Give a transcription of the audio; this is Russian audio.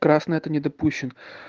красная это не допущен